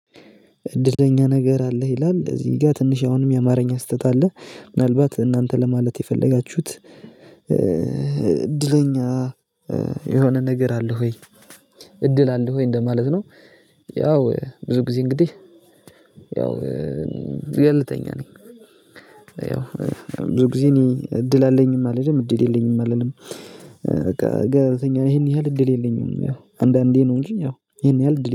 እድለኛ ነገር አለክ ይላል እዚጋር አሁንም ትንስሸ የአማርኛ ስተት አለ ምናልባት እናንተ ለማለት የፈለጋቹት ኧ ብዙኛ እ የሆነ ነገር አለክ ወይ እድል አለክ ወይ እንደማለት ነው? ያው ብዙ ጊዘ እንግዲህ ያው እ ቸልተኛ ነኝ። ብዙ ጊዜ እኔ እድል አለኝም አልልም እድል የለኝምም አልልም በቃ ገለልተኛ ነኝ እሀን ያክል እድል የለኝም ያው አንዳንደ ነው እንጂ እሀን ያክል እድል